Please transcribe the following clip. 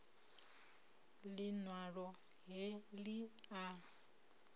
liṋ walo he li a